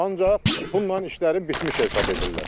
Ancaq bununla işlərin bitmiş hesab edirlər.